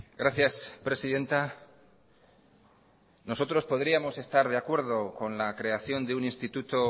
gracias presidenta nosotros podríamos estar de acuerdo con la creación de un instituto